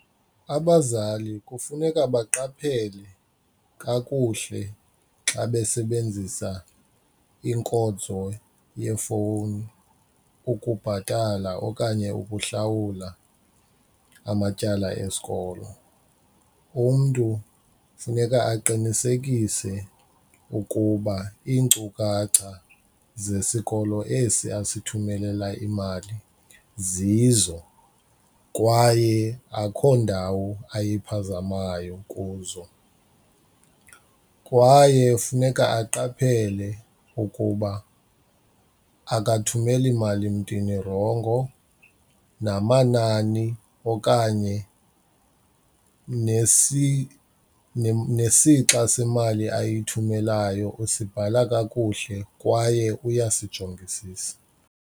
Abazali kufuneka baqaphele kakuhle xa besebenzisa inkonzo yefowuni ukubhatala okanye ukuhlawula amatyala esikolo. Umntu funeka aqinisekise ukuba iinkcukacha zesikolo esi asithumelela imali zizo kwaye akukho ndawo ayiphazamayo kuzo. Kwaye funeka aqaphele ukuba akathumeli mali mntwini urongo namanani okanye nesixa semali ayithumelayo usibhala kakuhle kwaye uyasijongisisa.